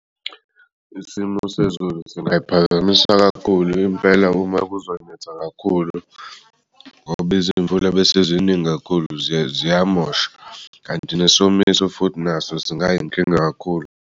Isimo sezulu singayiphakamisa kakhulu impela uma kuzonetha kakhulu ngoba imvula ebeseziningi kakhulu ziyamosha kanti nesomiso futhi naso singayinkinga kakhulu.